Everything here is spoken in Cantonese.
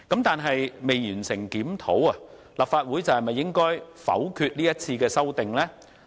但是，未完成相關檢討，是否代表立法會應否決這項條文的修訂呢？